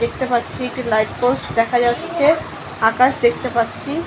দেখতে পাচ্ছি একটি লাইট পোস্ট দেখা যাচ্ছে আকাশ দেখতে পাচ্ছি।